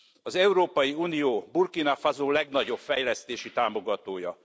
Az Európai Unió Burkina Faso legnagyobb fejlesztési támogatója.